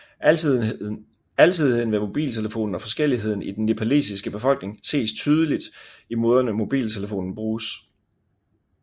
Alsidigheden ved mobiltelefonen og forskelligheden i den nepalesiske befolkning ses tydeligt i måderne mobiltelefonen bruges